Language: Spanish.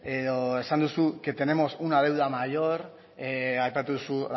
edo esan duzu que tenemos una deuda mayor aipatu duzu